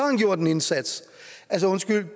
han gjort en indsats altså undskyld